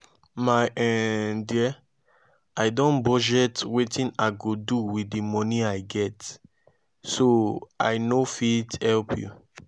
my um dear i don budget wetin i go do with the money i get so i no fit help you